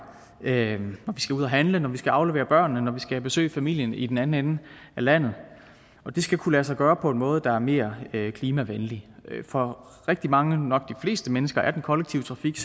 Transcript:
når vi skal ud at handle når vi skal aflevere børnene når vi skal besøge familien i den anden ende af landet og det skal kunne lade sig gøre på en måde der er mere klimavenlig for rigtig mange nok de fleste mennesker er den kollektive trafik